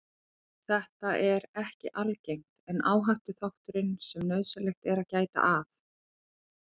Þetta er ekki algengt en áhættuþáttur sem nauðsynlegt er að gæta að.